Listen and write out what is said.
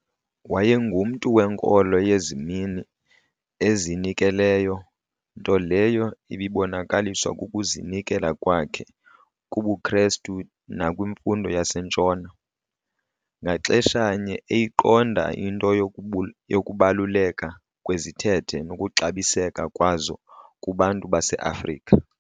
Wayengumntu wenkolo yezimini, ozinikeleyo, nto leyo ibibonakaliswa kukuzinikela kwakhe kubuKrestu nakwimfundo yaseNtshona, ngaxesha-nye eyiqonda into yokubaluleka kwezithethe nokuxabiseka kwazo kubantu baseAfrika.